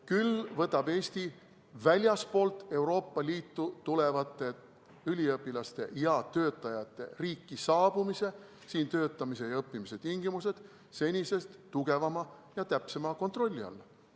Küll võtab Eesti väljastpoolt Euroopa Liitu tulevate üliõpilaste ja töötajate riiki saabumise, siin töötamise ja õppimise tingimused senisest tugevama ja täpsema kontrolli alla.